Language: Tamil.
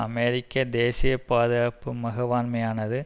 அமெரிக்க தேசிய பாதுகாப்பு மகவாண்மையானது